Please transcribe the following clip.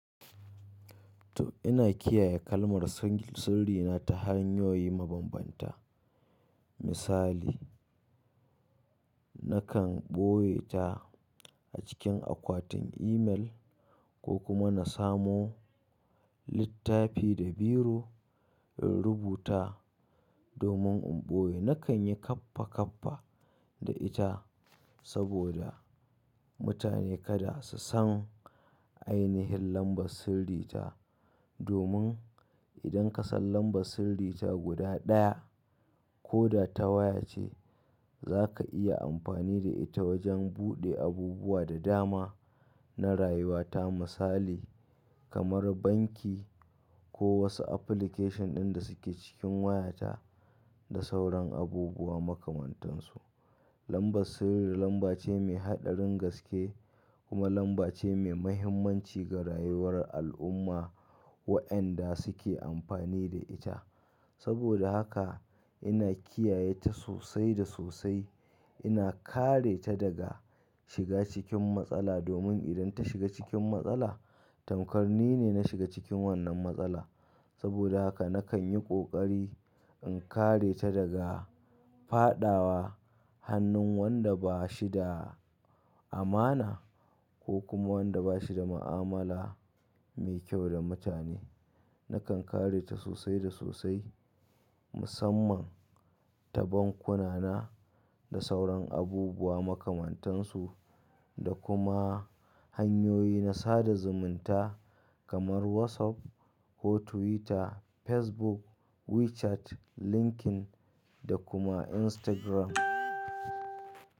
To, ina kiyaye kalmar sirri na ta hanyoyi mabambanta. Misali, nakan ɓoye ta a cikin akwatin email, ko kuma na samo, littafi da biro in rubuta domin in ɓoye. Na kan yi kaffa-kaffa da ita, saboda mutane kada su san ainihin lambar sirri ta. Domin, idan ka san lambar sirri ta guda ɗaya ko da ta waya ce, za ka iya amfani da ita wajen buɗe abubuwa da dama na rayuwa ta, misali, kamar banki, ko wasu application ɗin da suke cikin wayata, da sauran abubuwa makamantan su. Lambar sirri lamba ce mai haɗarin gaske, kuma lamba ce mai mahimmanci ga rayuwar al'umma, waɗanda suke amfani da ita. Saboda haka ina kiyaye ta sosai da sosai. Ina kare ta daga shiga cikin matsala, domin idan ta shiga cikin matsala, tamkar ni ne na shiga cikin wannan matsala. Saboda haka na kan yi ƙoƙari, in kare ta daga faɗawa hannun wanda ba shi da amana, ko kuma wanda ba shi da ma'amala mai kyau da mutane. Na kan kare ta sosai da sosai musamman ta bankuna na, da sauran abubuwa makamantan su, da kuma hanyoyi na sada zumunta, kamar WhatsApp, ko Twitter, Facebook, WeChat, LinkedIn da kuma Instagram.